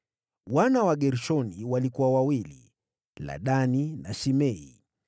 Wana wa Wagershoni walikuwa wawili: Ladani na Shimei.